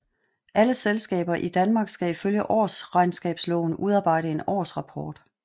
Alle selskaber i Danmark skal ifølge Årsregnskabsloven udarbejde en årsrapport